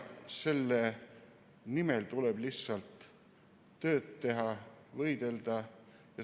Selle nimel tuleb lihtsalt tööd teha ja võidelda.